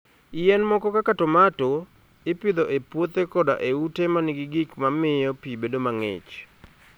Yien moko kaka tomato, ipidho e puothe koda e ute ma nigi gik ma miyo pi bedo mang'ich.